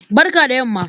Barka da yamma.